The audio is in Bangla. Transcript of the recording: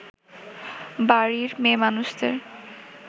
বাড়ির মেয়েমানুষদের